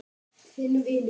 Þinn vinur.